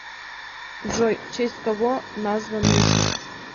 джой в честь кого назван мисис